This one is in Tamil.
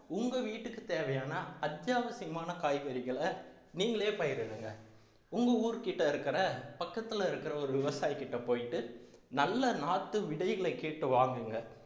உங்க வீட்டுக்கு தேவையான அத்தியாவசியமான காய்கறிகளை நீங்களே பயிரிடுங்க உங்க ஊர் கிட்ட இருக்கிற பக்கத்துல இருக்கிற ஒரு விவசாயி கிட்ட போயிட்டு நல்ல நாட்டு விதைகளை கேட்டு வாங்குங்க